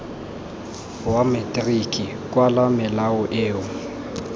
wa materiki kwala melao eo